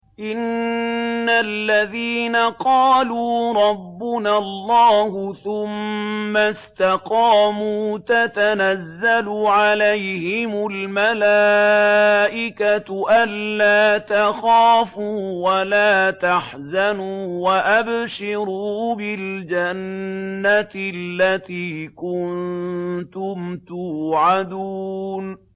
إِنَّ الَّذِينَ قَالُوا رَبُّنَا اللَّهُ ثُمَّ اسْتَقَامُوا تَتَنَزَّلُ عَلَيْهِمُ الْمَلَائِكَةُ أَلَّا تَخَافُوا وَلَا تَحْزَنُوا وَأَبْشِرُوا بِالْجَنَّةِ الَّتِي كُنتُمْ تُوعَدُونَ